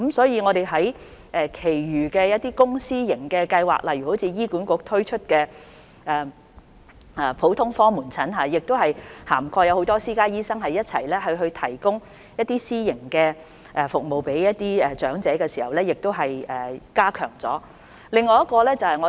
因此，我們提出其他公私營計劃，例如醫院管理局推出的普通科門診公私營協作計劃，當中涵蓋不少私家醫生，以便向長者提供私營服務，從而加強這方面的服務。